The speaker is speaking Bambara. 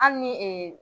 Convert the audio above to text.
Hali ni ee